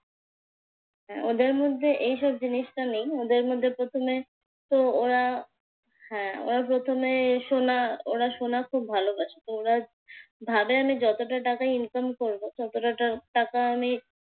ওদের মধ্যে এইসব জিনিসটা নেই। ওদের মধ্যে প্রথমেতো ওরা হ্যাঁ ওরা প্রথমে সোনা ওরা সোনা খুব ভালোবাসে। তো ওরা ভাবে যে আমি যতটা টাকা ইনকাম করবো ততটা টাকা আমি